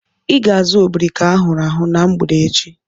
I ga-azu obrika ahụrụ ahu na mgbede echi.